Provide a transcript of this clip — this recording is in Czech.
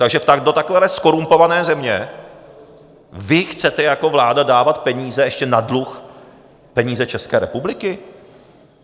Takže do takové zkorumpované země vy chcete jako vláda dávat peníze ještě na dluh, peníze České republiky?